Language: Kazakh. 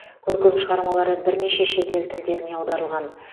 көркем шығармалары бірнеше шетел тілдеріне аударылған